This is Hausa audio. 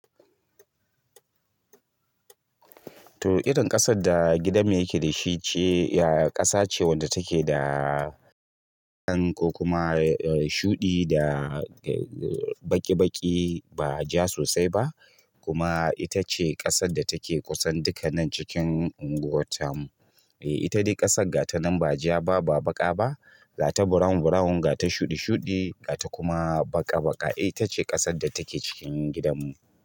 To irin ƙasar da gidanmu yake dashi ƙasa ce wadda take da dan ko kuma shuɗi da baƙi-baƙi ba ja sosai ba kuma ita ce ƙasar da take kusan duka nan cikin unguwar tamu. Eh ita dai ƙasar ga ta nan ba ja ba, ba baƙa ba, ga ta brown brown, ga ta shuɗi shuɗi, ga ta kuma baƙa baƙa. Eh ita ce ƙasar da take cikin gidanmu.